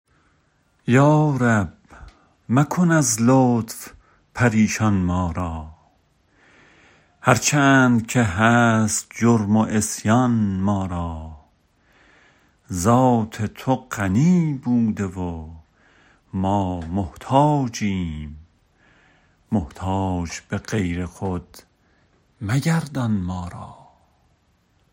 یا رب مکن از لطف پریشان ما را هرچند که هست جرم و عصیان ما را ذات تو غنی بوده و ما محتاجیم محتاج به غیر خود مگردان ما را